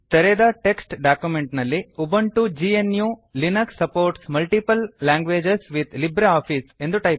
ತೆರೆದ text document ನಲ್ಲಿ Ubuntu gnuಲಿನಕ್ಸ್ supports multiple languages with LibreOffice